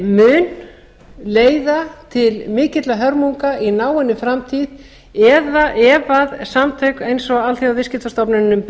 mun leiða til mikilla hörmunga í náinni framtíð ef samtök eins og alþjóðaviðskiptastofnun